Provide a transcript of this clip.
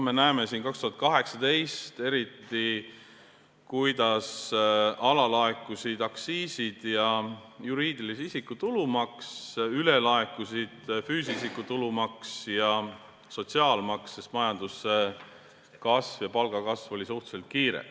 Me nägime eriti 2018, kuidas alalaekusid aktsiisid ja juriidilise isiku tulumaks, ülelaekusid aga füüsilise isiku tulumaks ja sotsiaalmaks, sest majanduskasv ja palgakasv olid suhteliselt kiired.